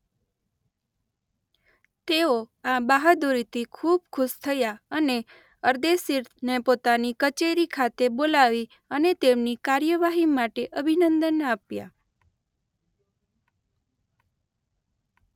તેઓ આ બહાદુરીથી ખૂબ ખુશ થયા અને અરદેશીરને પોતાની કચેરી ખાતે બોલાવી અને તેમની કાર્યવાહી માટે અભિનંદન આપ્યાં.